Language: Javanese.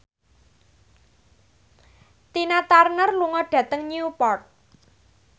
Tina Turner lunga dhateng Newport